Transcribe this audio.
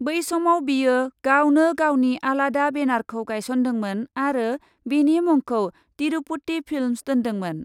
बै समाव बियो गावनो गावनि आलादा बेनारखौ गाइसन्दोंमोन आरो बेनि मुंखौ तिरुपति फिल्मस दोन्दोंमोन ।